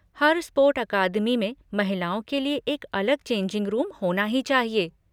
हर sport academy में महिलाओं के लिए एक अलग चेंजिंग रूम होना ही चाहिए।